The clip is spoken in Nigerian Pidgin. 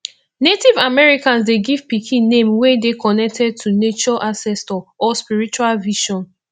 native americans de give pikin name wey dey connected to nature ancestor or spiritual vision